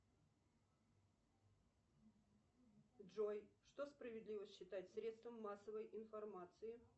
джой что справедливо считать средством массовой информации